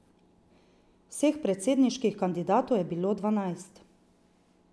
Vseh predsedniških kandidatov je bilo dvanajst.